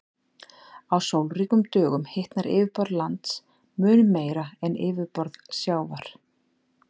Á sólríkum dögum hitnar yfirborð lands mun meira en yfirborð sjávar.